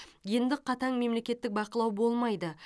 енді қатаң мемлекеттік бақылау болмайды